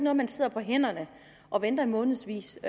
at man sidder på hænderne og venter i månedsvis